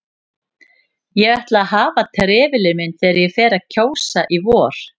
Ég ætla að hafa trefilinn minn þegar ég fer að kjósa í vor